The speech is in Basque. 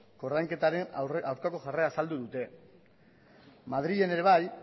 koordainketaren aurkako jarrera azaldu dute madrilen ere bai